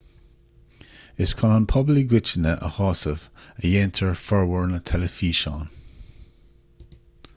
is chun an pobal i gcoitinne a shásamh a dhéantar formhór na dteilifíseán